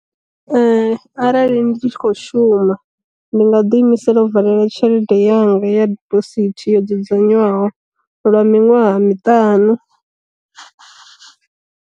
Arali ndi tshi kho shuma, ndi nga ḓi imisela u valela tshelede yanga ya dibosithi yo dzudzanywaho lwa miṅwaha miṱanu.